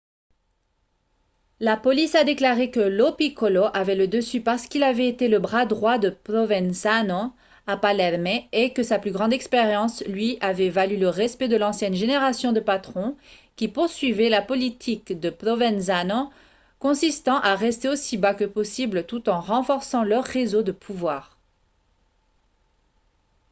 la police a déclaré que lo piccolo avait le dessus parce qu'il avait été le bras droit de provenzano à palerme et que sa plus grande expérience lui avait valu le respect de l'ancienne génération de patrons qui poursuivaient la politique de provenzano consistant à rester aussi bas que possible tout en renforçant leur réseau de pouvoir